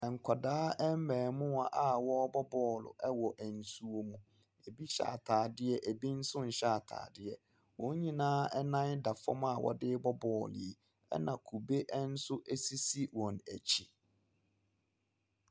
Nkwadaa mmaamuwa a wɔrebɔ ball wɔ nsuom. Ebi hyɛ ataadeɛ, ebinso nyɛ ataadeɛ. Wɔn nyinaa nan da fam a wɔde rebɔ rebɔ ball yi. Ɛna kɔbe sisi wɔn akyi.